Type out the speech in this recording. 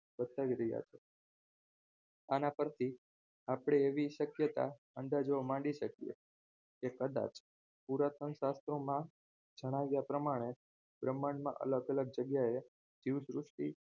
રહ્યા છે આના પરથી આપણે એવી શક્યતા અંદાજો માંડી શકીએ એ કદાચ પુરાતનમાં જણાવ્યા પ્રમાણે બ્રહ્માંડમાં અલગ અલગ જગ્યાએ જીવસૃષ્ટિ